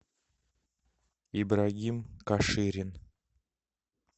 ибрагим каширин